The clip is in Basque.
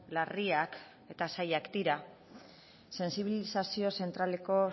larriak eta zailak dira sentsibilizazio zentraleko